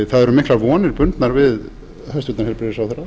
það eru miklar vonir bundnar við hæstvirtan heilbrigðisráðherra